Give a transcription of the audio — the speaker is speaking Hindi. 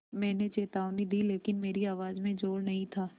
मैंने चेतावनी दी लेकिन मेरी आवाज़ में ज़ोर नहीं था